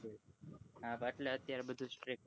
હા અત્યારે બધું strict